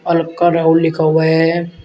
अल्का राहुल लिखा हुआ है।